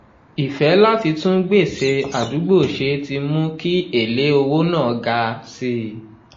ìfẹ́ láti tún gbèsè àdúgbò ṣe ti mú kí èlé owó náà ga sí i.